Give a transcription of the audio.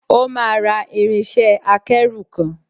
O máa ra irinṣẹ́-akẹ́rù kan.